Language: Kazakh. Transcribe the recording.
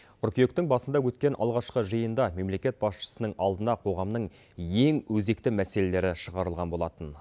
қыркүйектің басында өткен алғашқы жиында мемлекет басшысының алдына қоғамның ең өзекті мәселелері шығарылған болатын